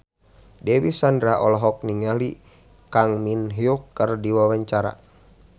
Dewi Sandra olohok ningali Kang Min Hyuk keur diwawancara